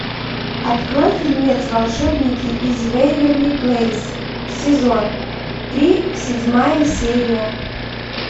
открой фильмец волшебники из вэйверли плэйс сезон три седьмая серия